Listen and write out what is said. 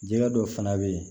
Jɛgɛ dɔw fana bɛ yen